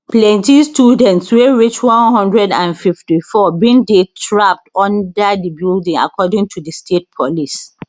plenti students wey reach one hundred and fifty four bin dey trapped under di building according to di state police